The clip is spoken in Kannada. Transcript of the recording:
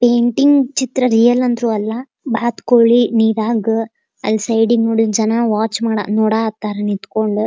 ಪೇಂಟಿಂಗ್ ಚಿತ್ರ ರಿಯಲ್ ಅಂದ್ರು ಅಲ್ಲ ಬಾತುಕೋಳಿ ನೀರಾಗ ಅಲ್ಲಿ ಸೈಡ್ ಗೆ ನೋಡಿ ಜನ ವಾಚ್ ಮಾಡ್ ನೋಡ ಹತ್ತರ ನಿತ್ಕೊಂಡು --